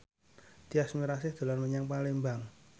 Tyas Mirasih dolan menyang Palembang